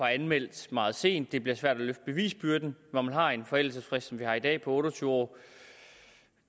anmeldt meget sent det bliver svært at løfte bevisbyrden når man har en forældelsesfrist som vi har i dag på otte og tyve år